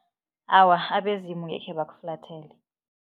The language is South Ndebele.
Awa, abezimu angekhe bakuflathele.